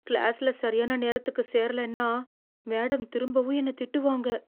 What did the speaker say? கிளாஸ்ல சரியான நேரத்துக்கு சேரலைன்னா, மேடம் திரும்பவும் என்ன திட்டுவாங்க.